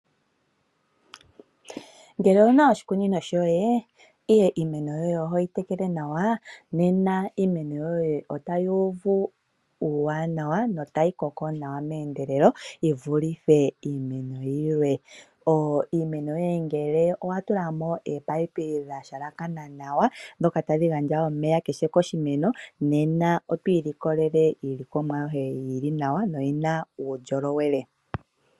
Ngele ouna oshikunino shoye ndele iimeno yoye ohoyi tekele nawa nena iimeno yoye otayi uvu uuwanawa notayi koko nawa meendelelo yi vulithe iinima yilwe. Miimeno yoye ngele owa tula mo oopayipi dha halakana nawa ndhoka tadhi gandja omeya kiimeno ayihe nena otwii likolele iilikomwa yoye yili nawa noyina uundjolowele.